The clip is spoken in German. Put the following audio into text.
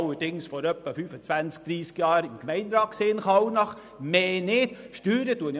Allerdings war ich vor etwa 25 bis 30 Jahren im Gemeinderat in Kallnach, mehr nicht.